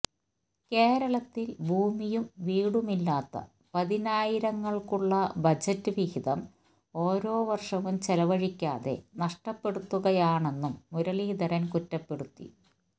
കേരളത്തിൽ ഭൂമിയും വീടുമില്ലാത്ത പതിനായിരങ്ങൾക്കുള്ള ബജറ്റ് വിഹിതം ഓരോ വർഷവും ചെലവഴിക്കാതെ നഷ്ടപ്പെടുത്തുകയാണെന്നും മുരളീധരൻ കുറ്റപ്പെടുത്തി